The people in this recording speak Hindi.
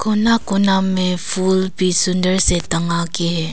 कोना कोना मे फूल भी सुंदर से किए हैं।